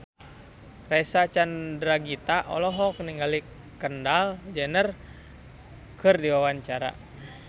Reysa Chandragitta olohok ningali Kendall Jenner keur diwawancara